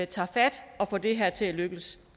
tager fat og får det her til at lykkes